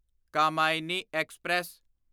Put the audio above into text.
Kamayani express